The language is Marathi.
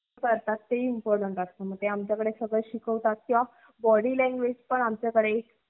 करतात ते important असत मग ते आम्ही सर्व body language शिकवतात.